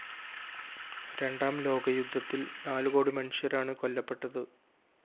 രണ്ടാം ലോകയുദ്ധത്തില്‍ നാലുകോടി മനുഷ്യരാണ് കൊല്ലപ്പെട്ടത്